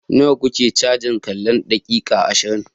Nawa kuke cajin tallan daƙiƙa ashirin?